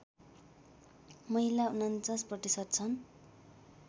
महिला ४९ प्रतिशत छन्